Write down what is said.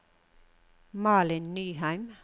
Malin Nyheim